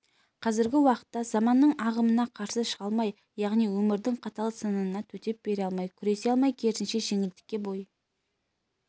қазіргі уақытта заманның ағымына қарсы шыға алмай яғни өмірдің қатал сынына төтеп бере алмай күресе алмай керісінше жеңілдікке бой